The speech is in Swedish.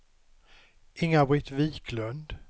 Inga-Britt Viklund